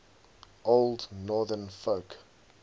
old northern folk